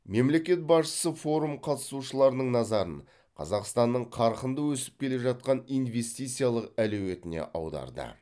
мемлекет басшысы форум қатысушыларының назарын қазақстанның қарқынды өсіп келе жатқан инвестициялық әлеуетіне аударды